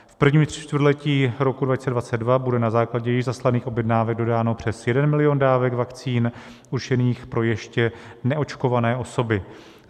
V prvním čtvrtletí roku 2022 bude na základě již zaslaných objednávek dodáno přes jeden milion dávek vakcín určených pro ještě neočkované osoby.